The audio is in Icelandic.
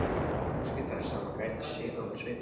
Óski þess að hún gæti séð á honum svipinn.